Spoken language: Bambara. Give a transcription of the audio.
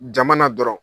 Jama na dɔrɔn